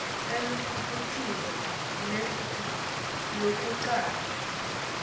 elukhetfweni lwetfu lwekucala